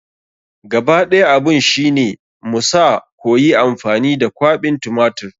Gaba ɗaya abun shi ne mu sa koyi amfani da kwaɓin tumatir.